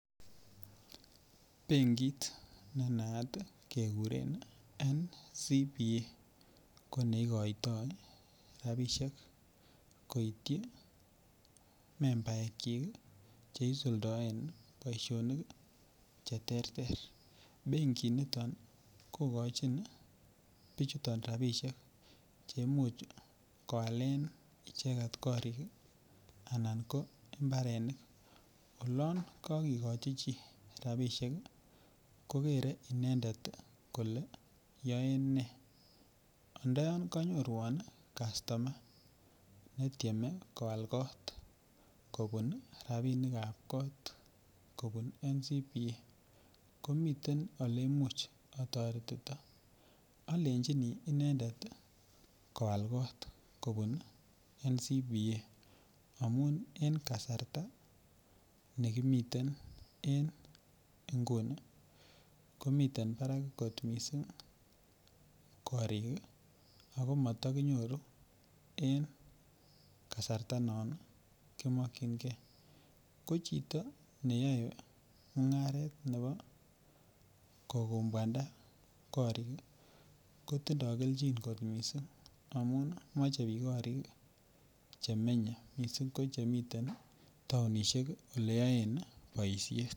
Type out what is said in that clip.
Benkit ne naat keguren NCBA ko ne igoito rabishek koityi membaekyik ii che isuldoen boisionik ii che terter. Benkit niton kogochin bichuton rabishek che imuch kowalen icheget korik ii anan ko imbarenik. Olon ko kigochi chi rabishek ii kogere inendet kole yoen ne anda yon konyoruwon customa ne tyeme kowal kot kobun rabinikah kot kobun NCBA komiten ole imuch otoretito. Olejini inendet koal kot kobun NCBA amun en la kasarta nekimiten en nguni. Komiten barak kot missing korik ii ako moto kinyoru en kasarta non ki mokyingee. Ko chito neyoe mungaret nebo kokwobwanda korik ii kotindo kelchin kot missing amun moche biik korik che menye missing ko chemiten tounishek ele yoen boishet